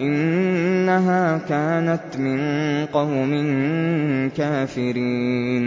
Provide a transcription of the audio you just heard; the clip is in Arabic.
إِنَّهَا كَانَتْ مِن قَوْمٍ كَافِرِينَ